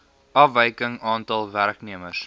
afwyking aantal werknemers